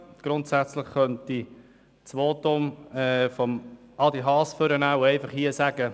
Ich könnte das Votum von Adrian Haas hervornehmen und einfach sagen: